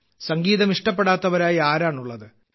സംഗീതം ഇഷ്ടപ്പെടാത്തതായി ആരാണുള്ളത്